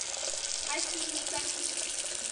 осинниками